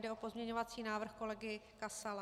Jde o pozměňovací návrh kolegy Kasala.